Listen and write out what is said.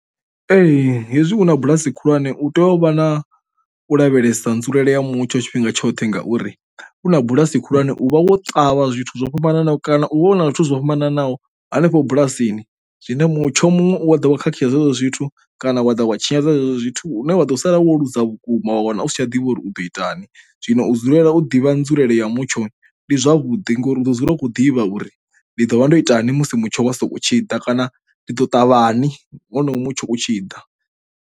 Ee hezwi hu na bulasi khulwane u tea u vha na u lavhelesa nzulele ya mutsho tshifhinga tshoṱhe ngauri u na bulasi khulwane u vha wo ṱavha zwithu zwo fhambananaho kana u vhona zwithu zwo fhambananaho hanefho bulasini zwine mutsho muṅwe wa dovha khakhisa zwo zwithu kana wa dovha wa tshinyadza hezwo zwithu une wa ḓo sala wo ḽuza vhukuma wa wana u si tsha a ḓivha uri u ḓo itani. Zwino u dzulela u ḓivha nzulele ya mutsho ndi zwavhuḓi ngauri u ḓo dzulela u khou ḓivha uri ndi ḓo vha ndo itani musi mutsho wa so u tshi ḓa kana ndi ḓo thavhani honoyo mutsho u tshi ḓa.